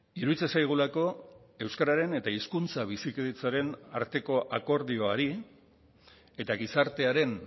iruditzen zaigulako euskararen eta hizkuntza bizikidetzaren arteko akordioari eta gizartearen